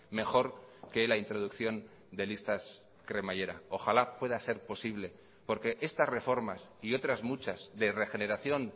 mejor que la introducción de listas cremallera ojalá pueda ser posible porque estas reformas y otras muchas de regeneración